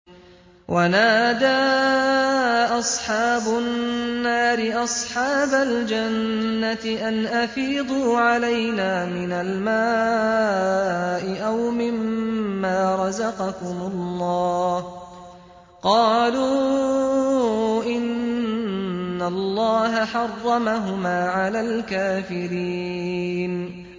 وَنَادَىٰ أَصْحَابُ النَّارِ أَصْحَابَ الْجَنَّةِ أَنْ أَفِيضُوا عَلَيْنَا مِنَ الْمَاءِ أَوْ مِمَّا رَزَقَكُمُ اللَّهُ ۚ قَالُوا إِنَّ اللَّهَ حَرَّمَهُمَا عَلَى الْكَافِرِينَ